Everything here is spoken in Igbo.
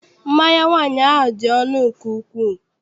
Mmanya nwaanyị ahụ dị ọnụ nke ukwuu.